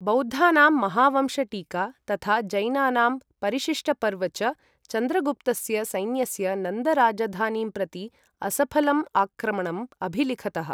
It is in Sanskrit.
बौद्धानां महावंश टीका तथा जैनानां परिशिष्टपर्व च, चन्द्रगुप्तस्य सैन्यस्य नन्द राजधानीं प्रति असफलम् आक्रमणम् अभिलिखतः।